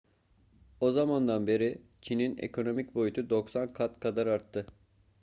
o zamandan beri çin'in ekonomik boyutu 90 kat kadar arttı